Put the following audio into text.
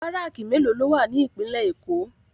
Bàráki méló ló wá ni Ipinlè Ékó?